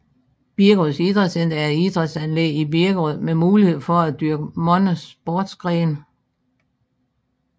Birkerød Idrætscenter er et idrætsanlæg i Birkerød med mulighed for at dyrke mange sportsgrene